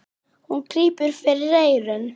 Hún grípur fyrir eyrun.